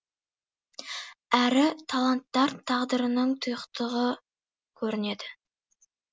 әрі таланттар тағдырының тұйықтығы көрінеді